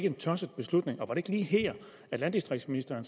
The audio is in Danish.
en tosset beslutning var det ikke lige her at landdistriktsministeren